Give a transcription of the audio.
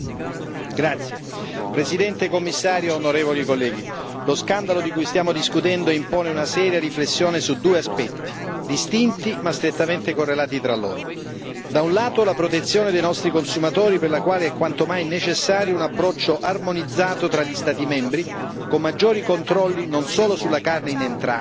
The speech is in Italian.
Signora Presidente, onorevoli colleghi, signor commissario, lo scandalo di cui stiamo discutendo impone una seria riflessione su due aspetti distinti ma strettamente correlati tra loro. Da un lato la protezione dei nostri consumatori, per la quale è quanto mai necessario un approccio armonizzato tra gli Stati membri con maggiori controlli, non solo sulla carne in entrata,